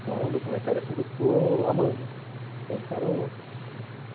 Então, é um documentário que eu estou amando. O cara